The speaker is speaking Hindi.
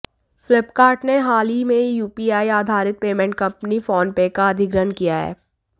फ्लिपकार्ट ने हालही में यूपीआई आधारित पेमेंट कंपनी फोनपे का अधिग्रहण किया है